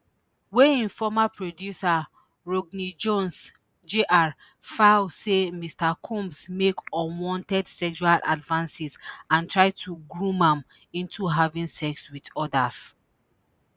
wey im former producer rodney jones jr file say mr combs make unwanted sexual advances and try to groom am into having sex with odas